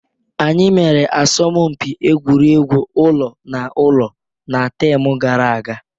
Anyi mere asọmụmpi egwuregwu ụlọ na ụlọ na taam gara aga.